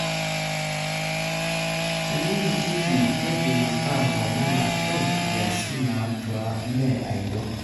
Tenimitiki keidim ata lomon ashu nkiasin nautaa neme aidong.